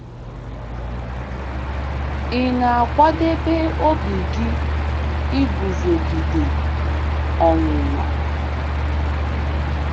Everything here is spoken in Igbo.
Ị̀ “na-akwadebe obi gị” iguzogide ọnwụnwa?